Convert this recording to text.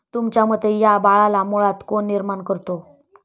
तुमच्या मते, या बाळाला मुळात कोण निर्माण करतो?